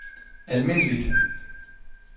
almindeligt